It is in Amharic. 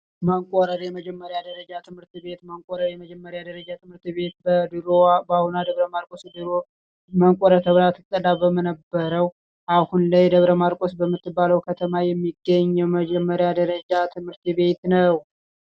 መቆለ የመጀመሪያ ደረጃ ትምህርት ቤት መቆለ የመጀመሪያ ደረጃ ትምህርት ቤት በድሮ መቆለ ተብላ በምትጠራው አሁን ላይ ደብረ ማርቆስ በምትባለው ከተማ የሚገኝ የመጀመሪያ ደረጃ ትምህርት ቤት ነው።